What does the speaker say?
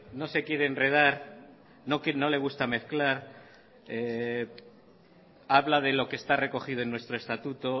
no se quiere enredar no le gusta mezclar habla de lo que está recogido en nuestro estatuto